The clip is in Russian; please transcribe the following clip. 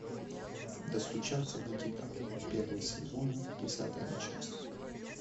достучаться до тебя первый сезон десятая часть